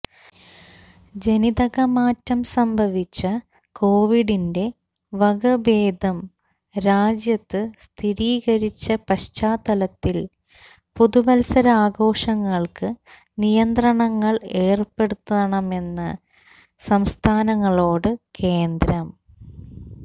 ജനിതകമാറ്റം സംഭവിച്ച കൊവിഡിന്റെ വകഭേദം രാജ്യത്ത് സ്ഥിരീകരിച്ച പശ്ചാത്തലത്തിൽ പുതുവത്സരാഘോഷങ്ങൾക്ക് നിയന്ത്രണങ്ങൾ ഏർപ്പെടുത്തണമെന്ന് സംസ്ഥാനങ്ങളോട് കേന്ദ്രം